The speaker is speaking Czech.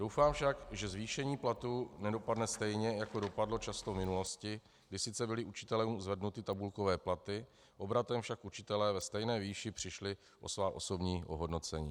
Doufám však, že zvýšení platů nedopadne stejně, jako dopadlo často v minulosti, kdy sice byly učitelům zvednuty tabulkové platy, obratem však učitelé ve stejné výši přišli o svá osobní ohodnocení.